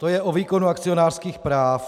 To je o výkonu akcionářských práv.